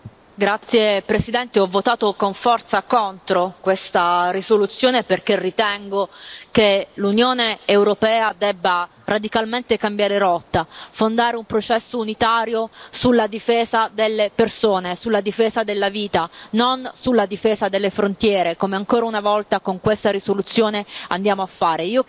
Signor Presidente, onorevoli colleghi, ho votato con forza contro questa risoluzione perché ritengo che l'Unione europea debba radicalmente cambiare rotta, fondare un processo unitario sulla difesa delle persone, sulla difesa della vita, non sulla difesa delle frontiere, come ancora una volta con questa risoluzione andiamo a fare.